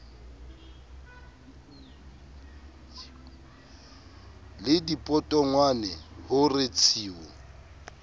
le dipotongwane ho re tshiu